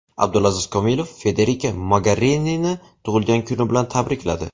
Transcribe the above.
Abdulaziz Komilov Federika Mogerinini tug‘ilgan kuni bilan tabrikladi.